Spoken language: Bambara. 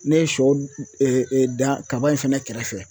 Ne ye sɔ e e da kaba in fɛnɛ kɛrɛfɛ